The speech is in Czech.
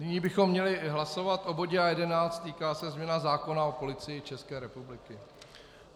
Nyní bychom měli hlasovat o bodě A11, týká se změny zákona o Policii České republiky.